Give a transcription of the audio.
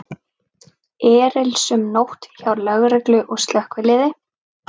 Erilsöm nótt hjá lögreglu og slökkviliði